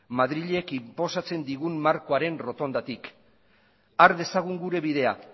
madrilek inposatzen digun markoaren errotondatik har dezagun gure bidea